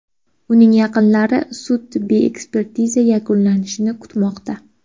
Uning yaqinlari sud-tibbiy ekspertizasi yakunlanishini kutmoqda.